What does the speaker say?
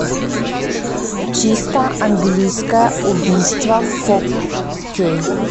чисто английское убийство фо кей